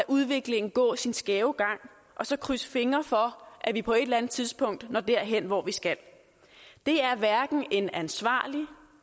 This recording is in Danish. udviklingen gå sin skæve gang og så krydse fingre for at vi på et eller andet tidspunkt når derhen hvor vi skal det er hverken en ansvarlig